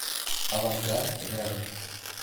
авангард рядом